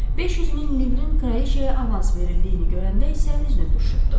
500 min livrin kraliçaya avans verildiyini görəndə isə üzünü turşutdu.